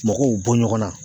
Mɔgɔw bɔ ɲɔgɔn na